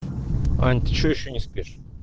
ань ты что ещё не спишь